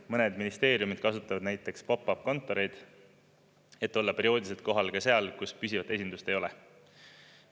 Mõned ministeeriumid kasutavad näiteks pop-up kontoreid, et olla perioodiliselt kohal ka seal, kus püsivate esindust ei ole.